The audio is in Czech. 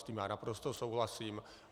S tím já naprosto souhlasím.